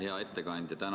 Hea ettekandja!